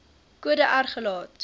kode r gelaat